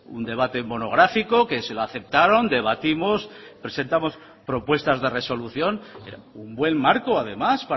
un debate monográfico que se lo aceptaron debatimos presentamos propuestas de resolución un buen marco además